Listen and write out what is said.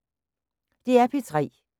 DR P3